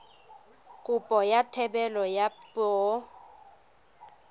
kopo ya thebolo ya poo